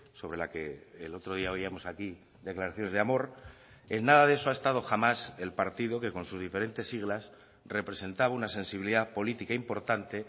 sobre la que el otro día oíamos aquí declaraciones de amor en nada de eso ha estado jamás el partido que con sus diferentes siglas representaba una sensibilidad política importante